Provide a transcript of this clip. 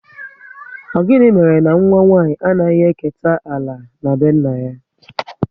Ọ gịnị mere na nwa nwanyị anaghị eketa ala na be nna ya?